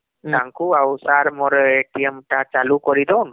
ତାଙ୍କୁ ଆଉ sir ମୋର ଟା ଚାଲୁ କରିଦଉନ